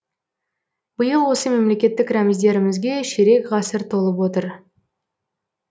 биыл осы мемлекеттік рәміздерімізге ширек ғасыр толып отыр